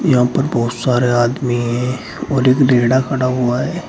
यहां पर बहोत सारे आदमी है और एक खड़ा हुआ है।